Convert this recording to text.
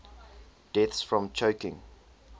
deaths from choking